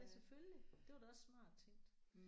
Ja selvfølgelig. Det var da også smart tænkt